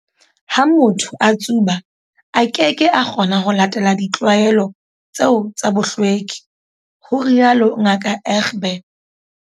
"Ha motho a tsuba, a keke a kgona ho latela ditlwaelo tseo tsa bohlweki," ho rialo Ngaka Egbe.